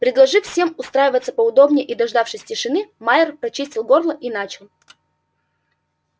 предложив всем устраиваться поудобнее и дождавшись тишины майер прочистил горло и начал